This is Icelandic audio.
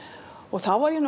og þá var ég